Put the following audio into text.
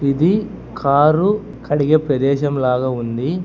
ఇది కారు కడిగే ప్రదేశం లాగా ఉంది.